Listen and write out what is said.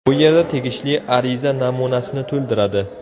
Bu yerda tegishli ariza namunasini to‘ldiradi.